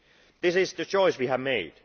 This is the choice we have made.